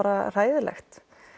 hræðilegt